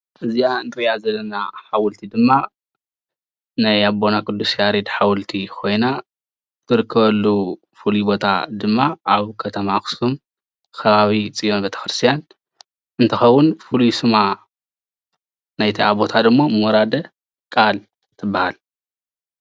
እዚአ እንሪአ ዘለና ሓወልቲ ድማ ናይ ኣቦና ቁዱስ ያሬድ ሓወልቲ ኮይና እትርከበሉ ፉሉይ ቦታ ድማ ኣብ ከተማ ኣክሱም ከባቢ ፅዮን ቤተክርስትያን እንትከውን ፍሉይ ሱማ ናይ እታ ቦታ ድማ ሞራደ ቃል ትባሃል፡፡